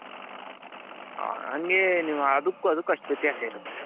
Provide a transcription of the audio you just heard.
ಹಂಗೇ ನೀವು ಅದುಕೂ ಅದುಕ್ಕು ಅಷ್ಟು ವ್ಯತ್ಯಾಸ ಇರುತ್ತೆ.